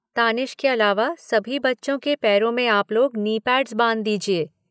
तानिश के अलावा सभी बच्चों के पैरों मे आप लोग नी पैड्स बांध दीजिए।